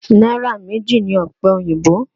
Náírà méjì ni ọ̀pẹ oyìnbó